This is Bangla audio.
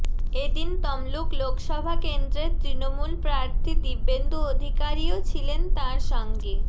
এদিন তমলুক লোকসভা কেন্দ্রের তৃণমূল প্রার্থী দিব্যেন্দু অধিকারিও ছিলেন তাঁর সঙ্গে